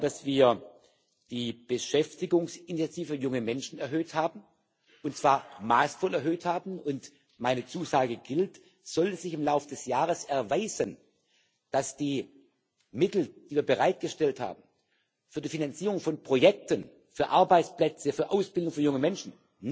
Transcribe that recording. Ich bin dankbar, dass wir die Beschäftigungsinitiative für junge Menschen erhöht haben und zwar maßvoll erhöht haben und meine Zusage gilt Sollte sich im Laufe des Jahres erweisen, dass die Mittel, die wir für die Finanzierung von Projekten, für Arbeitsplätze, für Ausbildung für junge Menschen